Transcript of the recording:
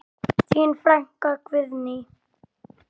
Þín frænka Guðný.